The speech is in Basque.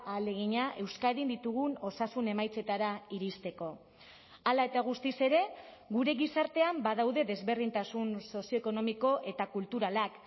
ahalegina euskadin ditugun osasun emaitzetara iristeko hala eta guztiz ere gure gizartean badaude desberdintasun sozioekonomiko eta kulturalak